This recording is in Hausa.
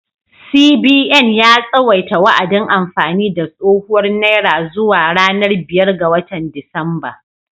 CBN ya tsawaita wa’adin amfani da tsohuwar naira zuwa ranar biyar ga watan Disamba.